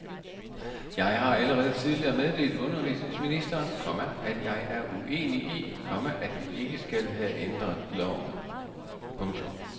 Jeg har allerede tidligere meddelt undervisningsministeren, komma at jeg er uenig i, komma at vi ikke skal have ændret loven. punktum